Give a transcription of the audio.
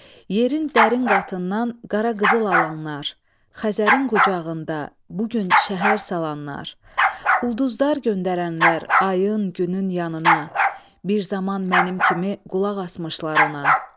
Yerin dərin qatından qara qızıl alanlar, Xəzərin qucağında bu gün şəhər salanlar, ulduzlar göndərənlər ayın, günün yanına, bir zaman mənim kimi qulaq asmışlar ona.